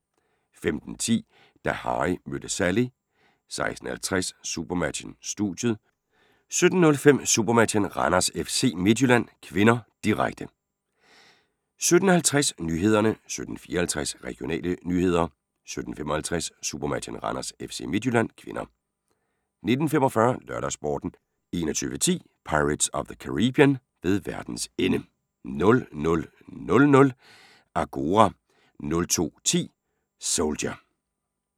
15:10: Da Harry mødte Sally 16:50: SuperMatchen: Studiet 17:05: SuperMatchen: Randers-FC Midtjylland (k), direkte 17:50: Nyhederne 17:54: Regionale nyheder 17:55: SuperMatchen: Randers-FC Midtjylland (k) 19:45: LørdagsSporten 21:10: Pirates of the Caribbean: Ved verdens ende 00:00: Agora 02:10: Soldier